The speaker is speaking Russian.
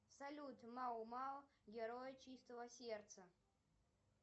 салют мао мао герой чистого сердца